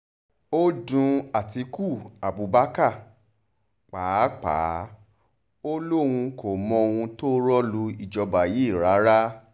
ó dun àtikukú abubakar pàápàá ò lóun kò mọ ohun tó rọ́ lu ìjọba yìí rárá